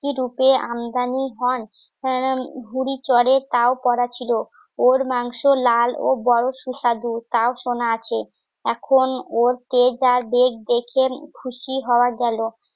আমদানি চড়ে তাও পড়া ছিল ওর মাংস লাল ও বড় সুস্বাদু তাও সোনা আছে এখন ওর যে যার বেড ডেকে খুশি হওয়া গেলো